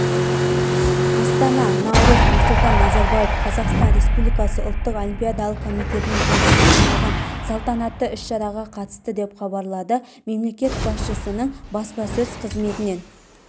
астана наурыз нұрсұлтан назарбаев қазақстан республикасы ұлттық олимпиадалық комитетінің жылдығына арналған салтанатты іс-шараға қатысты деп хабарлады мемлекет басшысының баспасөз қызметінен